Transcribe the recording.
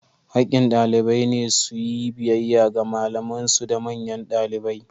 Hakkin ɗalibai ne su yi biyayya ga malaman su da manyan ɗalibai.